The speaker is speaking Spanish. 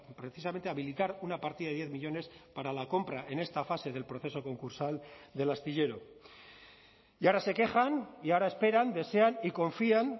precisamente habilitar una partida de diez millónes para la compra en esta fase del proceso concursal del astillero y ahora se quejan y ahora esperan desean y confían